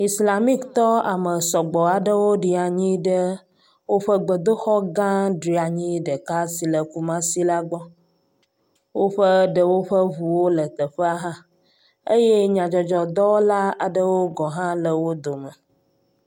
Islamiktɔ ame sɔgbɔ aɖewo ɖi anyi ɖe woƒe gbedoxɔ gã dranyi ɖeka si le kumasi la gbɔ. Woƒe ɖewo ƒe ŋu le teƒea hã eye nyadzɔdzɔdɔwɔla aɖewo gɔhã le wo dome.